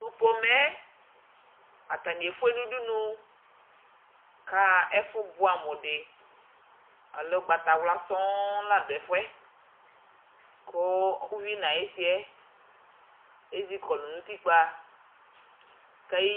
tʊ udunu yɛ efue nʊ udunu kʊ aɣa ɛfʊ bʊɛ amʊdɩ, alɛ ugbatawla ay'idi la dʊ ɛfʊ yɛ, kʊ uvi nʊ ayʊ isi yɛ, ezikɔlʊ nʊ utikpǝ